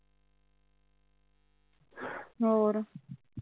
ਹੋਰ ਠੀਕ ਐ ਹਮ ਚਲ ਠੀਕ ਐ ਹੈਂ ਫਿਰ ਚੰਗਾ ਕਰਦੀ ਆਹੋ ਕਰੂੰਗੀ ਬਾਅਦ ਚ